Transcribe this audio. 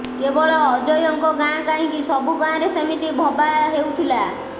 କେବଳ ଅଜୟଙ୍କ ଗାଁ କାହିଁକି ସବୁଗାଁରେ ସେମିତି ଭବା ହେଉଥିଲା